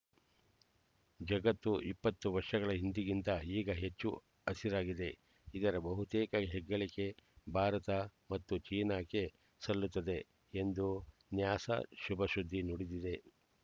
ಜಗತ್ತು ಇಪ್ಪತ್ತು ವರ್ಷಗಳ ಹಿಂದಿಗಿಂತ ಈಗ ಹೆಚ್ಚು ಹಸಿರಾಗಿದೆ ಇದರ ಬಹುತೇಕ ಹೆಗ್ಗಳಿಕೆ ಭಾರತ ಮತ್ತು ಚೀನಾಕ್ಕೆ ಸಲ್ಲುತ್ತದೆ ಎಂದು ನ್ಯಾಸಾ ಶುಭ ಶುದ್ದಿ ನುಡಿದಿದೆ